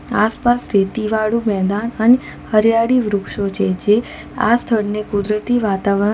આસપાસ રેતીવાળું મેદાન અને હરિયાળી વૃક્ષો જે છે આ સ્થળને કુદરતી વાતાવરણ --